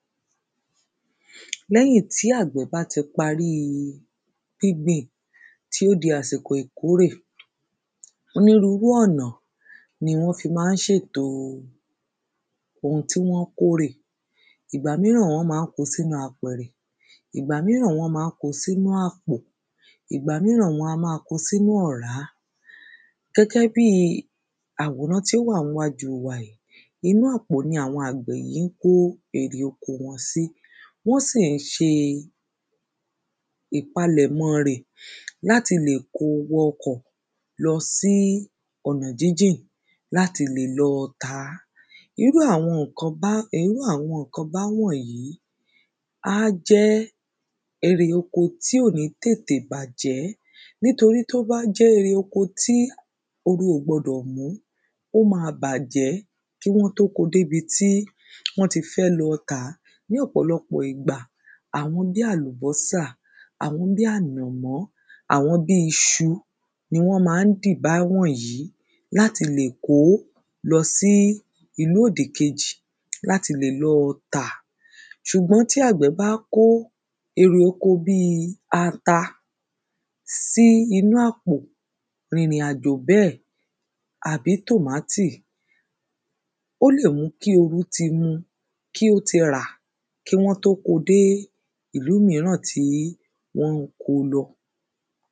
lẹ́yìn tí àgbẹ̀ bá ti paríi gbígbìn, tó di àsìkò ìkórè, onírurú ọ̀nà ni wọ́n fi má n sètò oun tí wọ́n kórè, ìgbà míràn wọ́n má n ko sínú apẹ̀rẹ̀, ìgbà míràn wọ́n má n ko sínú apò, ìgbà míràn wọ́n a ma ko sínú ọ̀rá, gẹ́gẹ́ bíi àwòrán tí ó wà níwájú wa yìí, inú àpò ni àwọn àgbẹ̀ yí kó erè oko wọn sí, wọ́n sì n se ìpalẹ̀mọ́ rẹ̀ láti lè kóo wọ ọkọ̀ lọsí ọ̀nà jíjìn láti lè lọ tàá, irú àwọn kobá, irú àwọn ńkan àkóbá wọ̀nyí á jẹ́ eré oko tí kò ní tètè bàjẹ́ nítorí tí ó bá jẹ́ eré oko tí oru ò gbọdọ̀ mú, ó ma bàjẹ́ kí wọ́n tó ko dé bi tí wọ́n ti fẹ́ lọ tàá ní òpòlopò ìgbà àwọn bí àlùbọ́sà, àwọn bí ànọ̀mọ́, àwọn bí isu ni wọ́n má n dìbá wọ̀nyí láti lè kó lọsí ìlú òdì kejì láti lè lọ tà, sùgbọ́n tí àgbẹ̀ bá kó erè oko bí ata sí inú àpò rìrìn àjò bẹ́ẹ̀, tàbí tòmátì ó lè mú kí orú ti mu, kí ó ti rà, kí wọ́n tó ko dé ìlú míràn tí wọ́n ko lọ.